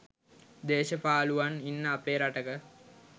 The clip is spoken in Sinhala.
දේශපාලුවන් ඉන්න අපේ රටක